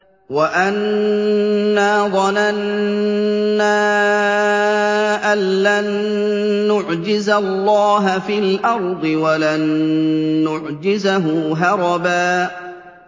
وَأَنَّا ظَنَنَّا أَن لَّن نُّعْجِزَ اللَّهَ فِي الْأَرْضِ وَلَن نُّعْجِزَهُ هَرَبًا